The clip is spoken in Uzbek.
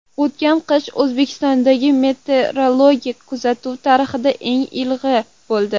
O‘tgan qish O‘zbekistondagi meteorologik kuzatuvlar tarixidagi eng ilig‘i bo‘ldi.